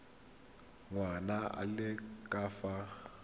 ngwana a le ka fa